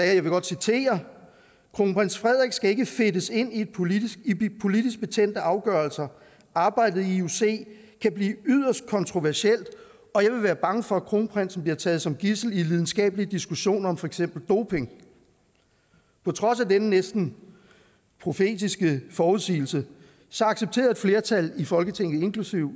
jeg vil godt citere kronprins frederik skal ikke fedtes ind i politisk politisk betændte afgørelser arbejdet i ioc kan blive yderst kontroversielt og jeg vil være bange for at kronprinsen bliver taget som gidsel i en lidenskabelig diskussion om for eksempel doping på trods af denne næsten profetiske forudsigelse accepterede et flertal i folketinget inklusive